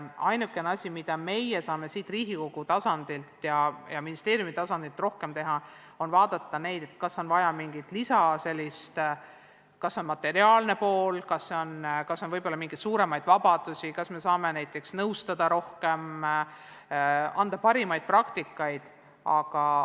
Ainuke asi, mida meie Riigikogu ja ministeeriumi tasandil teha saame, on vaadata, kas neil on materiaalse poole pealt lisa vaja või on neil suuremaid vabadusi vaja või kas me saame neid näiteks rohkem nõustada, parimaid praktikaid vahendada.